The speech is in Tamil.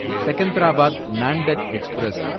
செகந்தராபாத் நான்டெட் எக்ஸ்பிரஸ்